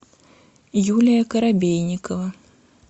юлия коробейникова